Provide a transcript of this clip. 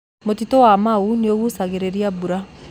Mũtitũ wa Maaũ nĩũgucagĩrĩria mbura